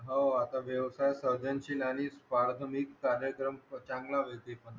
हो आता व्यवसाय सर्जनशील आणि कार्यक्रम